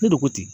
Ne de ko ten